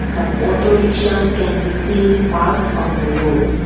some auto rickshaws can be seen parked on the road.